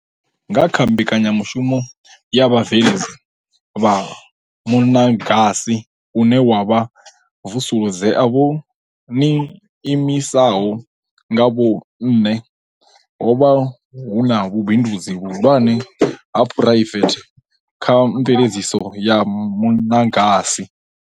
Nga kha Mbekanyamu shumo ya Vhabveledzi vha Muṅagasi une wa Vusuludzea vho ṅiimisaho nga vhoṅhe, ho vha na vhubi ndudzi vhuhulwane ha phu raivethe kha mveledziso ya muṅagasi.